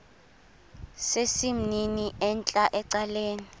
sesimnini entla ecaleni